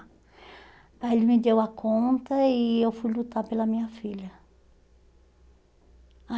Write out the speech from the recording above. Aí ele me deu a conta e eu fui lutar pela minha filha.